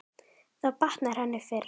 Þá batnar henni fyrr.